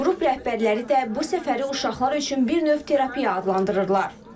Qrup rəhbərləri də bu səfəri uşaqlar üçün bir növ terapiya adlandırırlar.